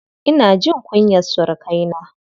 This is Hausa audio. Ina jin kunyar surukaina.